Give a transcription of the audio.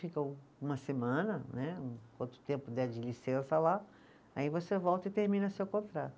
Fica um uma semana né, quanto tempo der de licença lá, aí você volta e termina seu contrato.